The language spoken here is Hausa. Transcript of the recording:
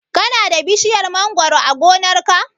Ka na da bishiyar mangoro a gonar ka?